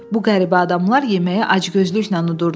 Bu qəribə adamlar yeməyi acgözlüklə yurdular.